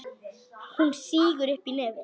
Hún sýgur upp í nefið.